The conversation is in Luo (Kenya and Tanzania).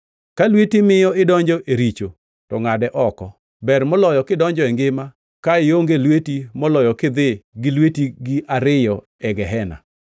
Ka lweti miyo idonjo e richo to ngʼade oko. Ber moloyo kidonjo e ngima ka ionge lweti moloyo kidhi gi lwetegi ariyo e gehena, [